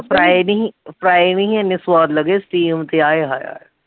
ਨੀ ਸੀ ਪਰਾਏ ਨੀ ਸੀ ਇੰਨੇ ਸਵਾਦ ਲੱਗੇ steam ਤੇ ਆਏ ਹਾਏ ਹਾਏ